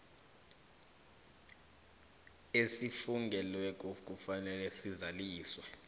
esifungelweko kufanele sizaliswe